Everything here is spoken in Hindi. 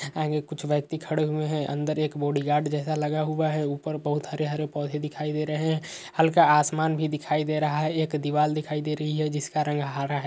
आगे कुछ व्यक्ति खड़े हुए हैं। अंदर एक बॉडीगार्ड जैसा लगा हुआ है। ऊपर बहोत हरे-हरे पोधे दिखाई दे रहे हैं। हल्का आसमान भी दिखाई दे रहा है। एक दीवाल दिखाई दे रही है जिसका रंग हरा है।